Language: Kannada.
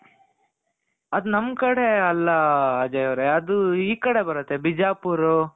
ಅದು ನಮ್ ಕಡೆ ಅಲ್ಲ ಅಜಯ್ ಅವರೆ ಅದು ಈ ಕಡೆ ಬರುತ್ತೆ ಬಿಜಾಪುರ್